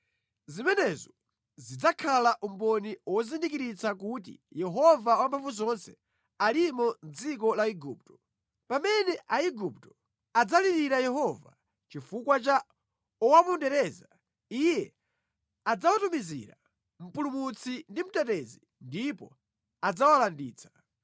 Zimenezo zidzakhala umboni wozindikiritsa kuti Yehova Wamphamvuzonse alimo mʼdziko la Igupto. Pamene Aigupto adzalirira Yehova chifukwa cha owapondereza, Iye adzawatumizira mpulumutsi ndi mtetezi ndipo adzawalanditsa.